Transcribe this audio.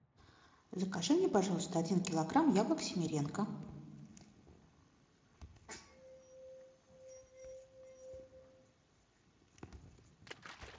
закажи мне пожалуйста один килограмм яблок симиренко